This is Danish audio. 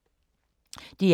DR K